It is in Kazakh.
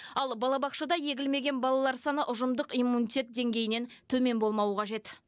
ал балабақшада егілмеген балалар саны ұжымдық иммунитет деңгейінен төмен болмауы қажет